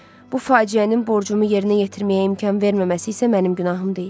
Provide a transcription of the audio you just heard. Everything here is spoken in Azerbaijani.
Bu faciənin borcumu yerinə yetirməyə imkan verməməsi isə mənim günahım deyil.